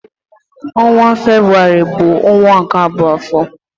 Ọnwa Febrụwarị bụ ọnwa nke abụọ n'afọ.